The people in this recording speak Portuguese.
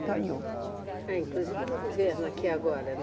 Ganhou. É, inclusive no governo aqui agora, né